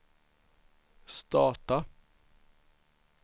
starta